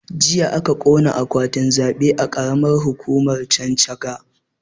Jiya aka ƙona akwatin zaɓe a karamar hukumar chanchaga